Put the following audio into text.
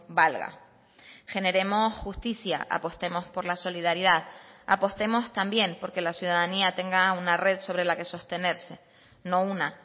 valga generemos justicia apostemos por la solidaridad apostemos también porque la ciudadanía tenga una red sobre la que sostenerse no una